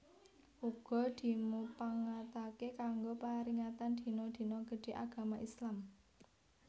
Uga dimupangatake kanggo paringatan dina dina gedhé Agama Islam